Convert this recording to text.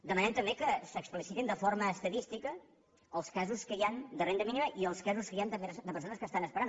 demanem també que s’explicitin de forma estadística els casos que hi han de renda mínima i els casos que hi han també de persones que estan esperant